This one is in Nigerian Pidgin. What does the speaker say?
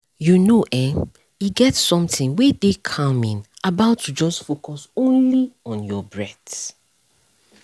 you know[um]e get something wey dey calming about to just focus only on your breath